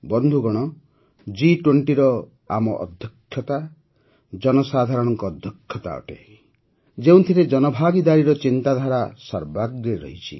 ବନ୍ଧୁଗଣ ଜି୨୦ରେ ଆମ ଅଧ୍ୟକ୍ଷତା ଜନସାଧାରଣଙ୍କ ଅଧ୍ୟକ୍ଷତା ଅଟେ ଯେଉଁଥିରେ ଜନଭାଗିଦାରୀର ଚିନ୍ତାଧାରା ସର୍ବାଗ୍ରେ ରହିଛି